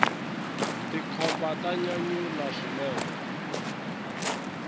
tikhomba ta nyanyula swinene